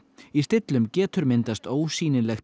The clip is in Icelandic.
í stillum getur myndast ósýnilegt